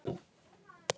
LÁRUS: Þögn!